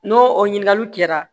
N'o o ɲininkaliw kɛra